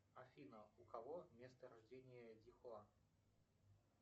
афина у кого место рождения дихуа